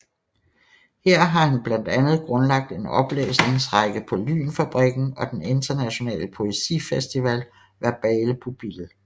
Her har han blandt andet grundlagt en oplæsningsrække på LYNfabrikken og den internationale poesifestival Verbale Pupiller